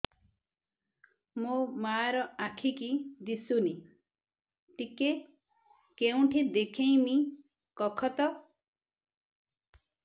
ମୋ ମା ର ଆଖି କି ଦିସୁନି ଟିକେ କେଉଁଠି ଦେଖେଇମି କଖତ